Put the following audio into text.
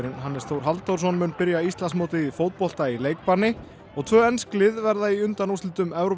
Hannes Þór Halldórsson mun byrja Íslandsmótið í fótbolta í leikbanni og tvö ensk lið verða í undanúrslitum